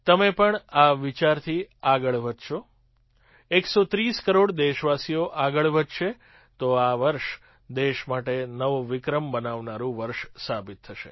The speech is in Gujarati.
તમે પણ આ વિચારથી આગળ વધશો ૧૩૦ કરોડ દેશવાસીઓ આગળ વધશે તો આ વર્ષ દેશ માટે નવો વિક્રમ બનાવનારું વર્ષ સાબિત થશે